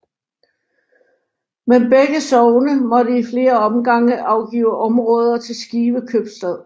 Men begge sogne måtte i flere omgange afgive områder til Skive Købstad